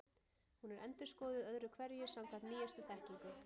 Hún er endurskoðuð öðru hverju samkvæmt nýjustu þekkingu.